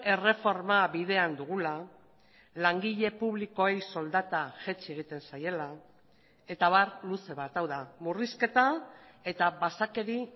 erreforma bidean dugula langile publikoei soldata jaitsi egiten zaiela eta abar luze bat hau da murrizketa eta basakeri